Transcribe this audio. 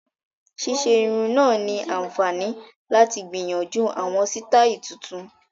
Ṣíṣe irun náà ni àǹfààní láti gbìyànjú àwọn sítáì tuntun